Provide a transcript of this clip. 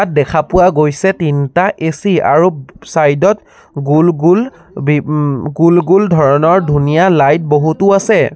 দেখা পোৱা গৈছে তিনটা এ_চি আৰু চাইড ত গোল গোল বি উম গোল গোল ধৰণৰ ধুনীয়া লাইট বহুতো আছে।